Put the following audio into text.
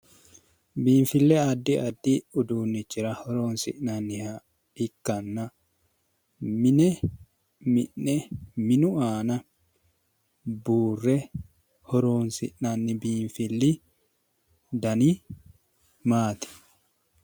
Biinifille addi addi uduunichira horonisi'naniha ikkana mi'ne minu aana buure horonisi'nanni fili dani maati?